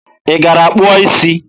Ị gara kpụọ isi?